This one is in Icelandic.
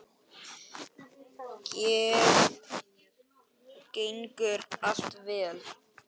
Gengur allt vel?